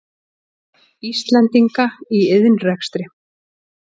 Íslendinga í iðnrekstri.